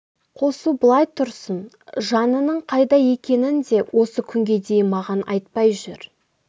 қосу былай тұрсын жанының қайда екенін де осы күнге дейін маған айтпай жүр